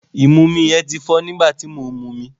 Ìmumi yẹn ti fọ́ nígbà tí mò ń momi.